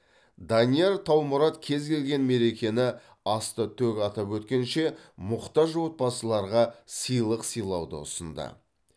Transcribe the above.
данияр таумұрат кез келген мерекені аста төк атап өткенше мұқтаж отбасыларға сыйлық сыйлауды ұсынды